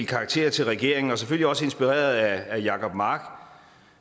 karakterer til regeringen selvfølgelig også inspireret af herre jacob mark